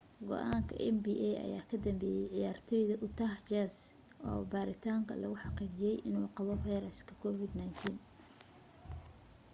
go'aanka nba ayaa ka dambeeyey ciyaartooy utah jazz oo baaritaanka lagu xaqiijiyay inuu qabo viruska covid-19